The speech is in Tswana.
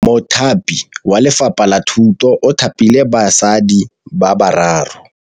Mothapi wa Lefapha la Thutô o thapile basadi ba ba raro.